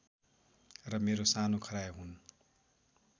र मेरो सानो खरायो हुन्